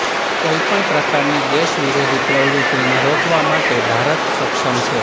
કોઈપણ પ્રકારની દેશવિરોધી પ્રવૃત્તિને રોકવા માટે ભારત સક્ષમ છે